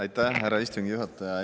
Aitäh, härra istungi juhataja!